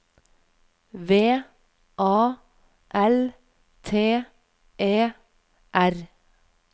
V A L T E R